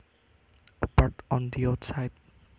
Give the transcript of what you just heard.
A part on the outside